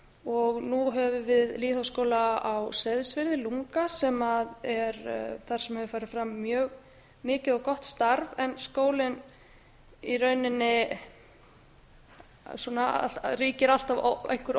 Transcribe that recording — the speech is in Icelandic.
og nú höfum við lýðháskóla á seyðisfirði lunga þar sem hefur farið fram mjög mikið og gott starf en um starfsemi skólans ríkir alltaf einhver